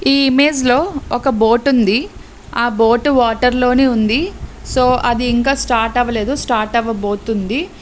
ఈ ఇమేజ్ లో ఒక బోట్ ఉంది. ఆ బోట్ వాటర్ లోనే ఉంది. సో అది ఇంకా స్టార్ట్ అవ్వలేదు స్టార్ట్ అవ్వబోతుంది.